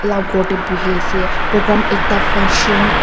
la khor teh buhi ase program ekta funtion .